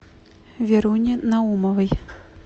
веруне наумовой